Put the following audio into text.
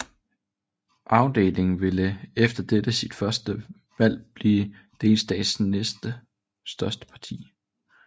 AfD ville efter dette sit første valg blive delstatens næst største parti